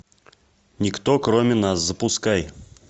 никто кроме нас запускай